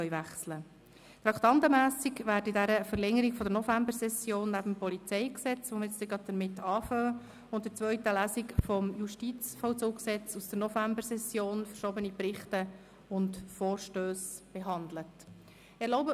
In dieser Verlängerung der Novembersession werden neben dem Polizeigesetz (PolG), mit dem wir gleich beginnen werden, und der zweiten Lesung des Gesetzes über den Justizvollzug (Justizvollzugsgesetz, JVG) aus der Novembersession verschobene Berichte und Vorstösse behandelt werden.